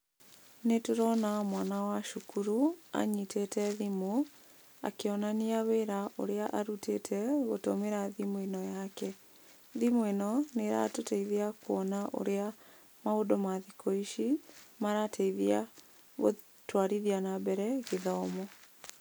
Nĩ ndĩrona mwana wa cukuru anyitĩte thimũ, akĩonania wĩra ũrĩa arutĩte gũtũmĩra thimũ ĩno yake. Thimũ ĩno nĩ ĩratũteithia kuona ũrĩa maũndũ ma thikũ ici, marateithia gũtũarithia na mbere gĩthomo.